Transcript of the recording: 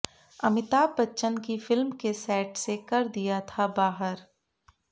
अमिताभ बच्चन की फिल्म के सेट से कर दिया था बाहर